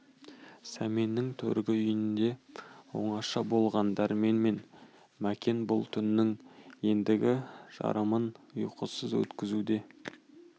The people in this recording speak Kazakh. сәменнің төргі үйінде оңаша болған дәрмен мен мәкен бұл түннің ендігі жарымын ұйқысыз өткізуде